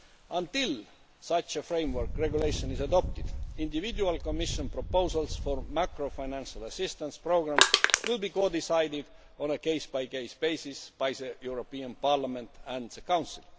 Until such a framework regulation is adopted, individual Commission proposals for macro financial assistance programmes will be codecided on a case by case basis by the European Parliament and the Council.